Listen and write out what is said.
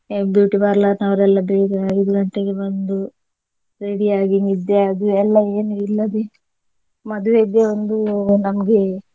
beauty parlor ನವರೆಲ್ಲ ಬೇಗ ಐದು ಗಂಟೆಗೆ ಬಂದು ready ಆಗಿ ನಿದ್ದೆ ಅದು ಎಲ್ಲಾ ಏನು ಇಲ್ಲದೆ ಮದುವೆಗೆ ಒಂದು ನಮ್ಗೆ.